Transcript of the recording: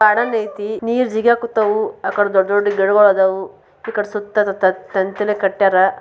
Garden ಐತೆ ನೀರ್ ಜಗತ್ ಹತ್ತವು ದೊಡ್ಡ ಗಿಡಗಳಿದವು ಸುತ್ತ ತಂತಿಲಿ ಕಟೈಯ್ಯರ.